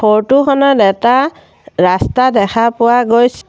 photo খনত এটা ৰাস্তা দেখা পোৱা গৈছ--